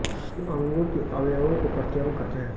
इन अंगों के अवयवों को प्रत्यंग कहते हैं